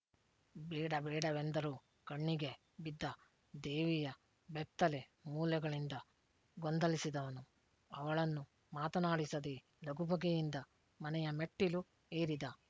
ಬೇಡ ಬೇಡವೆಂದರೂ ಕಣ್ಣಿಗೆ ಬಿದ್ದ ದೇವಿಯ ಬೆತ್ತಲೆ ಮೊಲೆಗಳಿಂದ ಗೊಂದಲಿಸಿದವನು ಅವಳನ್ನು ಮಾತನಾಡಿಸದೇ ಲಗುಬಗೆಯಿಂದ ಮನೆಯ ಮೆಟ್ಟಿಲು ಏರಿದ